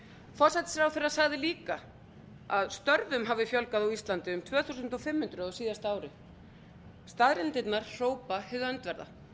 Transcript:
forsætisráðherra sagði líka að störfum hefði fjölgað á íslandi um tvö þúsund og fimm hundruð á síðasta ári staðreyndirnar hrópa hið öndverða